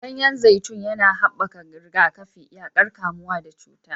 Ganyen zaitun yana haɓaka rigakafi, yaƙar kamuwa da cuta.